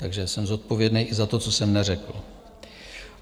- Takže jsem zodpovědný i za to, co jsem neřekl.